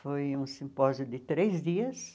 Foi um simpósio de três dias.